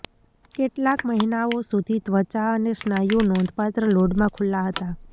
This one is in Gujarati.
કેટલાક મહિનાઓ સુધી ત્વચા અને સ્નાયુઓ નોંધપાત્ર લોડમાં ખુલ્લા હતા